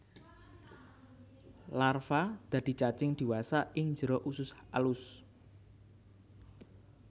Larva dadi cacing diwasa ing jero usus alus